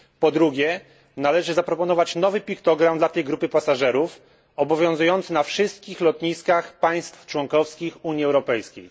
Po drugie należy zaproponować nowy piktogram dla tej grupy pasażerów, obowiązujący na wszystkich lotniskach państw członkowskich Unii Europejskiej.